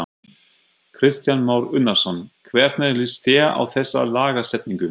Kristján Már Unnarsson: Hvernig líst þér á þessa lagasetningu?